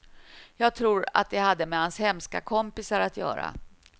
Jag tror att det hade med hans hemska kompisar att göra.